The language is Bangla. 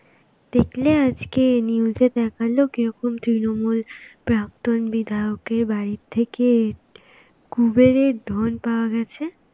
দেখলে আজকে, news এ দেখালো কিরকম তৃণমূল প্রাক্তন বিধায়কের বাড়ি থেকে কুবেরের ধন পাওয়া গেছে.